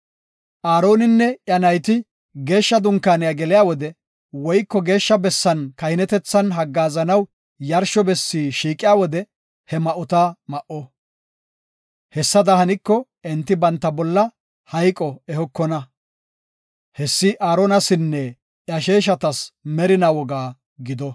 Aaroninne iya nayti Geeshsha Dunkaaniya geliya wode woyko Geeshsha Bessan kahinetethan haggaazanaw yarsho bessi shiiqiya wode ha ma7ota ma7o. Hessada haniko, enti banta bolla hayqo ehokona. Hessi Aaronasinne iya sheeshatas merinaa woga gido.